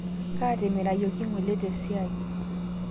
Kaatimirayeki ng'ole tesiae